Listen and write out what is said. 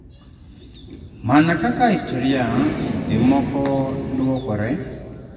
Mana kaka historia kinde moko dwokore.